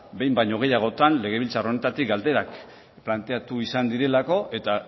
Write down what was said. behin baino gehiagotan legebiltzar honetatik galderak planteatu izan direlako eta